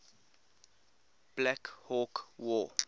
black hawk war